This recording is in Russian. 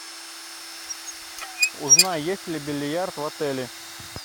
узнай есть ли бильярд в отеле